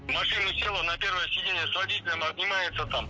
в машину села на первое сидение с водителем обнимается там